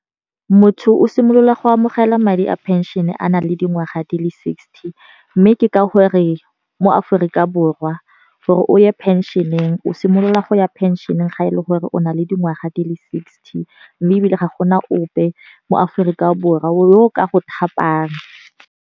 Motho o simolola go amogela madi a pension-e a na le dingwaga di le sixty. Mme ke ka gore mo Aforika Borwa gore o ye pension-eng o simolola go ya phenseneng ga e le gore o na le dingwaga di le sixty. Mme ebile ga gona ope mo Aforika Borwa o ka go thapang.